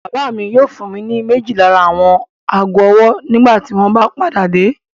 Bàbá mi yóò fún mi ní méjì lára àwọn ago-ọwọ́ nígbà tí wọ́n bá padà dé.